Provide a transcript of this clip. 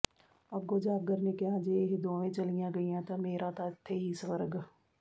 ਅੱਗੋਂ ਜਾਗਰ ਨੇ ਕਿਹਾ ਜੈ ਇਹ ਦੋਵੇ ਚਲੀਆਂ ਗਈਆਂ ਤਾ ਮੇਰਾ ਤਾ ਇਥੇ ਹੀ ਸਵਰਗ